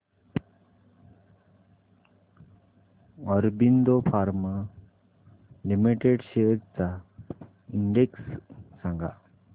Aurobindo Pharma Limited shares चा index सांगा